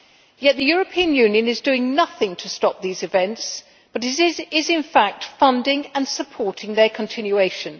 Yet the European Union is doing nothing to stop these events but is in fact funding and supporting their continuation.